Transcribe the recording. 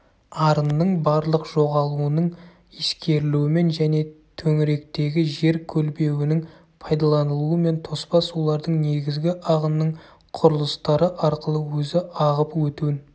арынның барлық жоғалуының ескерілуімен және төңіректегі жер көлбеуінің пайдаланылуымен тоспа сулардың негізгі ағынының құрылыстары арқылы өзі ағып өтуін